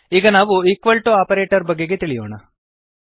ಈಗ ನಾವು equal to operator ಬಗೆಗೆ ತಿಳಿಯೋಣ